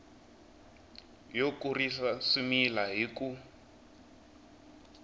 yo kurisa swimila hi ku